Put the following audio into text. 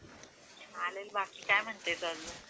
चालेल आणि बाकी काय म्हणते काय चालू..